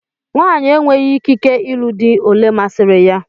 Nwaanyị enweghị ikike ịlụ di olé masiri ya